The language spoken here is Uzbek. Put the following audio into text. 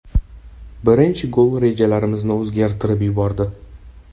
Birinchi gol rejalarimizni o‘zgartirib yubordi.